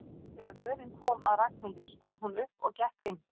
Þegar röðin kom að Ragnhildi stóð hún upp og gekk inn.